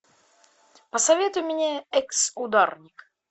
посоветуй мне экс ударник